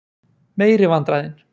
meiri vandræðin!